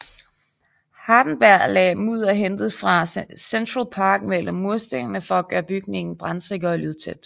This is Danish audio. Hardenbergh lagde mudder hentet fra Central Park mellem murstenene for at gøre bygningen brandsikker og lydtæt